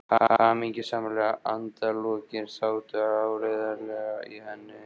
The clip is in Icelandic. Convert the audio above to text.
Hamingjusamleg endalokin sátu áreiðanlega í henni.